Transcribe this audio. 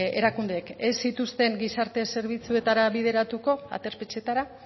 erakundeek ez zituzten gizarte zerbitzuetara bideratuko aterpetxetara